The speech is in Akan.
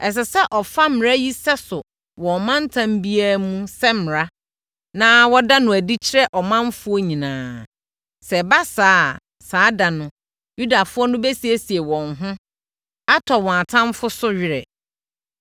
Ɛsɛ sɛ wɔfa mmara yi sɛso wɔ ɔmantam biara mu sɛ mmara, na wɔda no adi kyerɛ ɔmanfoɔ nyinaa. Sɛ ɛba saa a, saa da no, Yudafoɔ no bɛsiesie wɔn ho, atɔ wɔn atamfoɔ so were.